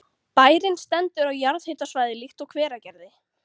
Bærinn stendur á jarðhitasvæði líkt og Hveragerði.